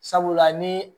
Sabula ni